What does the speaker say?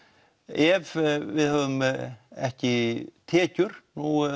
ef við höfum ekki tekjur